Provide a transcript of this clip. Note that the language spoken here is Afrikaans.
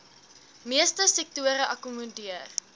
meeste sektore akkommodeer